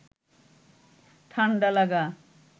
ঠাণ্ডা লাগা